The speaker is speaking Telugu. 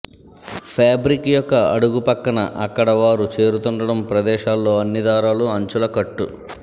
ఫాబ్రిక్ యొక్క అడుగు పక్క న అక్కడ వారు చేరుతుండటం ప్రదేశాల్లో అన్ని దారాలు అంచుల కట్టు